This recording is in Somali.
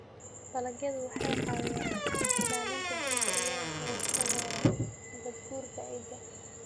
Dalagyadu waxay caawiyaan ilaalinta dhulka iyagoo ka hortagaya nabaad-guurka ciidda.